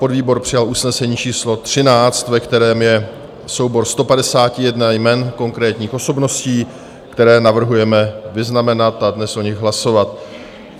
Podvýbor přijal usnesení číslo 13, ve kterém je soubor 151 jmen konkrétních osobností, které navrhujeme vyznamenat a dnes o nich hlasovat.